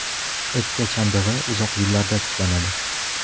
O‘pka chandig‘i uzoq yillarda tiklanadi.